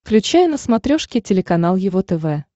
включай на смотрешке телеканал его тв